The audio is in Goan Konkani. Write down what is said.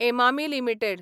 एमामी लिमिटेड